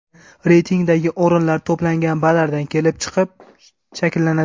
Reytingdagi o‘rinlar to‘plangan ballardan kelib chiqib shakllanadi.